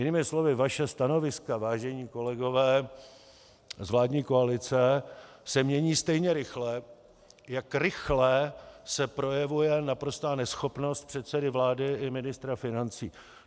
Jinými slovy vaše stanoviska, vážení kolegové z vládní koalice, se mění stejně rychle, jak rychle se projevuje naprostá neschopnost předsedy vlády i ministra financí.